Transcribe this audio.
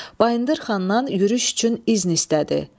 Bayındır xandan yürüş üçün izin istədi.